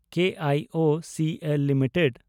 K I O C L limited